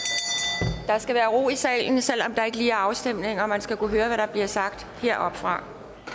er skal være ro i salen selv om der ikke lige er afstemning og man skal kunne høre hvad der bliver sagt heroppefra